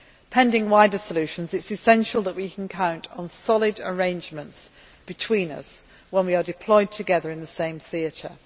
Pending wider solutions, it is essential that we can count on solid arrangements between us when we are deployed together in the same theatre.